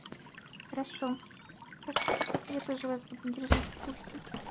хорошо хорошо я тоже вас буду держать в курсе